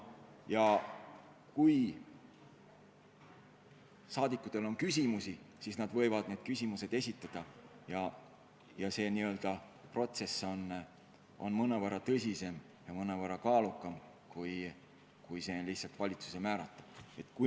Ja kui rahvasaadikutel on küsimusi, siis nad võivad need küsimused esitada ja kogu protsess on mõnevõrra tõsisem ja kaalukam kui lihtsalt valitsuse poolt ametisse määramise korral.